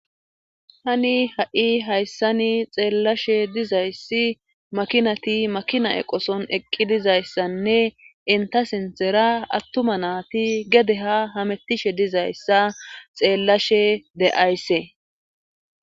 tani ha7i hayssani xeellashe dizayssi makinati makina eqoson eqqi dizayssanne inta sintera attuma naati gede ha hamettishe dizayssa xeellashe de7ays.